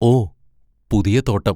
ഓ, പുതിയ തോട്ടം.